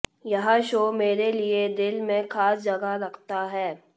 यह शो मेरे लिए दिल में खास जगह रखता है